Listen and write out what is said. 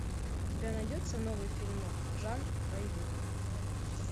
у тебя найдется новый фильмок жанр боевик